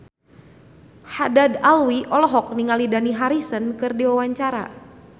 Haddad Alwi olohok ningali Dani Harrison keur diwawancara